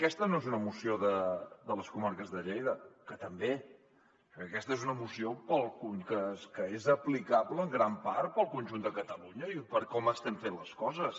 aquesta no és una moció de les comarques de lleida que també perquè aquesta és una moció que és aplicable en gran part al conjunt de catalunya i per com estem fent les coses